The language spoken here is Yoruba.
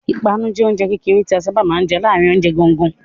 Ìpanu jẹ oúnjẹ kékeré tí a sáábà máa ń jẹ láàárin oúnjẹ gangan.